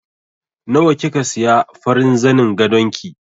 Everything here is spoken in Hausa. Nawa kika siya farin zanin gadon ki?